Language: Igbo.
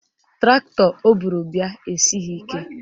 Traktọ o buru bịa esighị ike